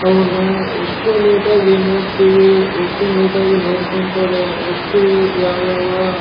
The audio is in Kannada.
ಅವ್ವುನ್ನ ಎಷ್ಟು ನೀಟ್ ಆಗಿ ನೋಡ್ತಿವಿ ಎಷ್ಟು ಆಗಿ ನೋಡ್ಕೊಂತಾರೆ ಎಷ್ಟು ಯಾವ್ ಯಾವ--